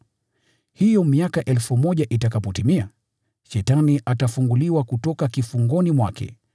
Hiyo miaka 1,000 itakapotimia, Shetani atafunguliwa kutoka kifungoni mwake,